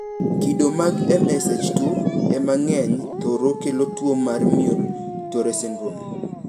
Kido mag MSH2 emang`enyne thoro kelo tuo mar Muir Torre syndrome.